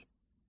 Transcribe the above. Təbil